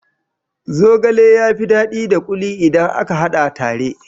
Zogale ya fi daɗi da kuli idan aka hada tare.